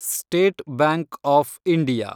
state Bank of India